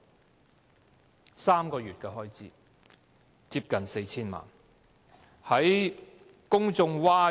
僅僅3個月的開支竟近 4,000 萬元，令公眾譁然。